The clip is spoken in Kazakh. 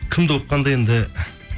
кімді оқығанда енді